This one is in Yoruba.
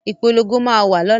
Ìpolongo máa wà lọ́la